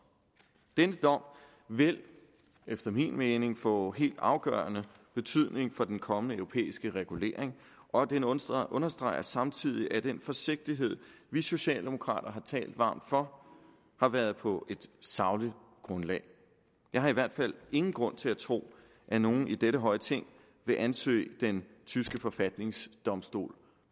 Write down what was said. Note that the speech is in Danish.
den dom vil efter min mening få helt afgørende betydning for den kommende europæiske regulering og den understreger understreger samtidig at den forsigtighed vi socialdemokrater har talt varmt for har været på et sagligt grundlag jeg har i hvert fald ingen grund til at tro at nogen i dette høje ting vil anse den tyske forfatningsdomstol